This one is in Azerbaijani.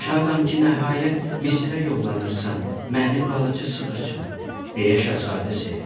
Şadam ki, nəhayət Misrə yollanırsan mənim balaca sığırçınım, deyə şahzadə sevindi.